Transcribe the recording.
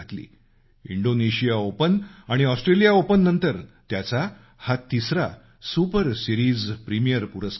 Indonesia open आणि Australia ओपननंतर त्यांचा हा तिसरा सुपर सिरीज प्रीमियर पुरस्कार आहे